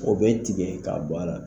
O bɛ tigɛ k'a bɔ a la.